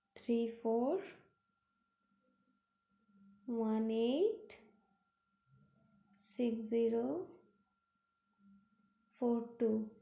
Three four one eight six zero four two.